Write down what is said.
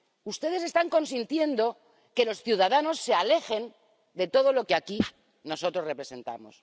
Ustedes están consintiendo que los ciudadanos se alejen de todo lo que aquí nosotros representamos.